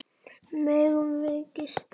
Megum við gista?